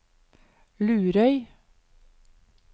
Lurøy